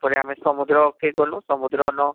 ତାପରେ ଆମେ ସମୁଦ୍ର କେ ଗ୍ନୁ, ସମୁଦ୍ର ନ